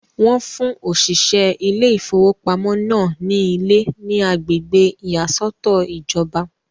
Wọ́n fún òṣìṣẹ́ ilé ìfowópamọ́ náà ní ilé ní agbègbè ìyàsọ́tọ̀ ìjọba.